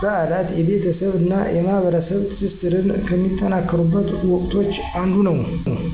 በዓላት የቤተሰብ እና የማህበረሰብ ትስስርን ከሚጠናከሩበት ወቅቶች አንዱ ነው።